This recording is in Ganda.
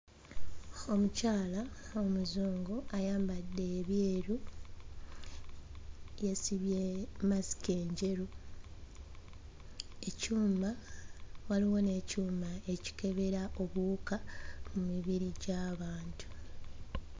Omukyala omuzungu ayambadde ebyeru yeesibye masiki enjeru, ekyuma, waliwo n'ekyuma ekikebera obuwuka ku mibiri gy'abantu.